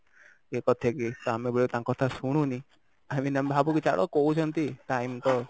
ଇଏ କରିଥାଏ କି ଆମେ ବେଳେବେଳେ ତାଙ୍କ କଥା ଶୁଣୁନି i mean ଆମେ ଭାବୁ କି ଛାଡ କହୁଛନ୍ତି time ତ